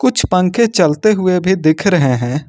कुछ पंखे चलते हुए भी दिख रहे है।